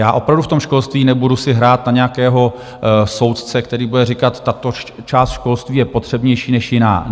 Já opravdu v tom školství si nebudu hrát na nějakého soudce, který bude říkat: tato část školství je potřebnější než jiná.